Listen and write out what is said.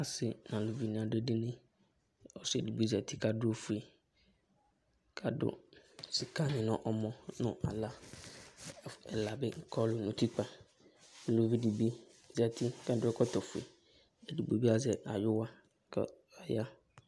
Asɩ nʋ alʋvɩ nɩ adʋ edini Ɔsɩ edigbo zǝtɩ kʋ adʋ ofue, kʋ adʋ sɩka nɩ nʋ ɔmɔ nʋ aɣla Ɛla bɩ kɔlʋ nʋ utikpǝ dʋ nʋ uvi dɩ bɩ zǝtɩ kʋ adʋ ɛkɔtɔ ofue Edɩgbo bɩ azɛ ayʋwa kʋ ɔya